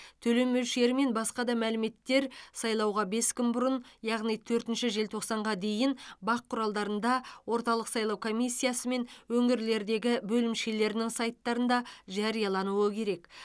төлем мөлшері мен басқа да мәліметтер сайлауға бес күн бұрын яғни төртінші желтоқсанға дейін бақ құралдарында орталық сайлау комиссиясы мен өңірлердегі бөлімшелерінің сайттарында жариялануы керек